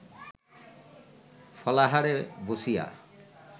ফলাহারে বসিয়া